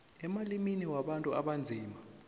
emalimini wabantu abanzima